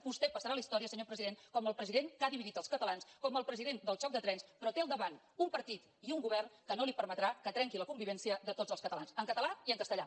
vostè passarà a la història senyor president com el president que ha dividit els catalans com el president del xoc de trens però té al davant un partit i un govern que no li permetrà que trenqui la convivència de tots els catalans en català i en castellà